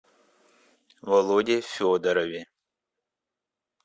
володе федорове